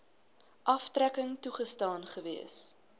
aftrekking toegestaan gewees